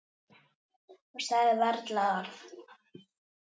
Og sagði varla orð.